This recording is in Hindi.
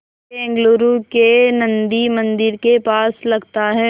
बेंगलूरू के नन्दी मंदिर के पास लगता है